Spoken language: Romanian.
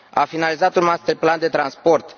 an a finalizat un master plan de transport